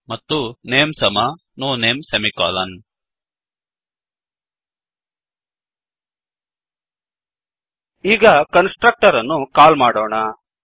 ಮತ್ತು ನೇಮ್ ಸಮ no name ಈಗ ಕನ್ಸ್ ಟ್ರಕ್ಟರ್ ಅನ್ನು ಕಾಲ್ ಮಾಡೋಣ